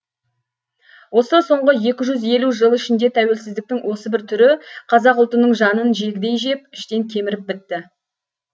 осы соңғы екі жүз елу жыл ішінде тәуелсіздіктің осы бір түрі қазақ ұлтының жанын жегідей жеп іштен кеміріп бітті